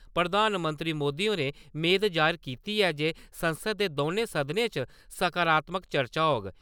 प्रधानमंत्री मोदी होरें मेद जाहिर कीती ऐ जे संसद दे दौनें सदनें च सकारात्मक चर्चा होग।